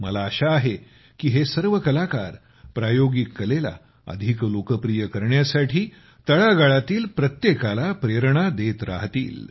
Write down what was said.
मला आशा आहे की हे सर्व कलाकारप्रयोगिक कलेला अधिक लोकप्रिय करण्यासाठी तळागाळातील प्रत्येकाला प्रेरणा देत राहतील